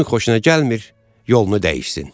Kimin xoşuna gəlmir, yolunu dəyişsin.